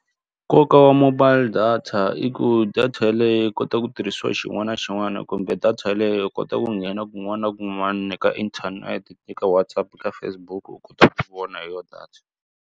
Nkoka wa mobile data i ku data yeleyo u kota ku tirhisiwa xin'wana na xin'wana kumbe data yeleyo u kota ku nghena kun'wana na kun'wana na ka internet eka Whatsapp ka Facebook u kota ku vona hi yona data.